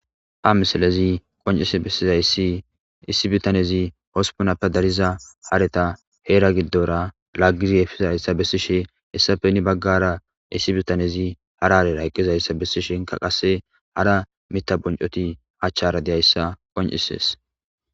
ha misalezi qonise eizayssi issi bitanezi hospunappe dariza hareta heera giddora laggizi efiza hessa bessishe hessafe ni baggara issi bitanezi hararera hyqqizayssa bessi shenka qasse hara mita buncoti hachchara deyayssa qoncisees